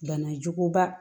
Banajuguba